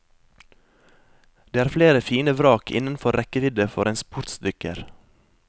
Det er flere fine vrak innenfor rekkevidde for en sportsdykker.